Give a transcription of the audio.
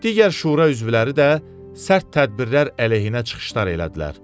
Digər şura üzvləri də sərt tədbirlər əleyhinə çıxışlar elədilər.